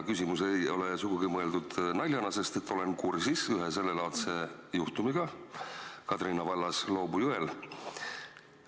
Küsimus ei ole sugugi mõeldud naljana, sest olen kursis ühe sellelaadse juhtumiga Kadrina vallas Loobu jõel.